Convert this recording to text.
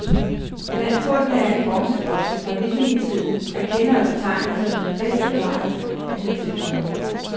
Blandt fundene er en bronzebroche fra vikingetiden, af kendere betegnet som den bedst bevarede af hidtil fundne.